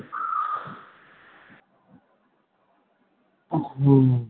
হম